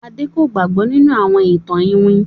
Ade kò gbàgbó nínú àwọn ìtàn iwin.